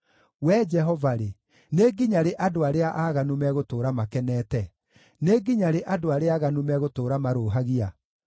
Wee Jehova-rĩ, nĩ nginya rĩ andũ arĩa aaganu megũtũũra makenete, nĩ nginya rĩ andũ arĩa aaganu megũtũũra marũũhagia?